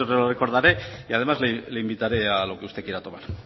lo recordaré y además le invitaré a lo que usted quiera tomar